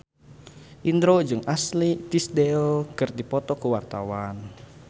Indro jeung Ashley Tisdale keur dipoto ku wartawan